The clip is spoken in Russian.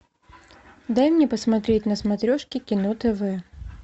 дай мне посмотреть на смотрешке кино тв